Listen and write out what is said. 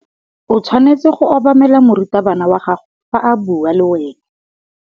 O tshwanetse go obamela morutabana wa gago fa a bua le wena.